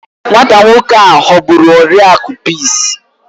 Nwata nwoke a ghọgburu Oriakụ Peace